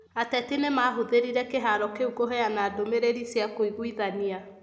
ateti nĩ mahũthĩrire kĩharo kĩu kũheana ndũmĩrĩri cia kũiguithania.